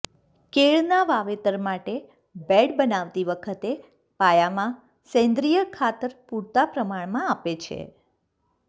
કેળના વાવેતર માટે બેડ બનાવતી વખતે પાયામાં સેન્દ્રિય ખાતર પૂરતા પ્રમાણમાં આપે છે